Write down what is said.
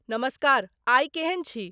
नमस्कार आइ केहन छी।